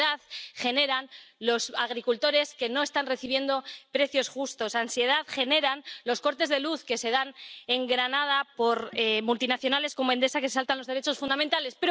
ansiedad generan los agricultores que no están recibiendo precios justos ansiedad generan los cortes de luz en Granada por parte de multinacionales como Endesa que se saltan los derechos fundamentales.